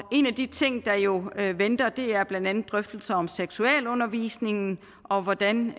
en af de ting der jo venter er blandt andet drøftelser om seksualundervisningen og hvordan